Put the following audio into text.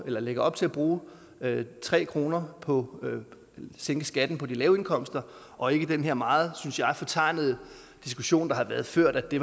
lægger op til at bruge tre kroner på at sænke skatten på de lave indkomster og ikke den her meget synes jeg fortegnede diskussion der har været ført at det